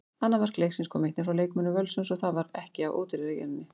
Annað mark leiksins kom einnig frá leikmönnum Völsungs og það var ekki af ódýrari gerðinni.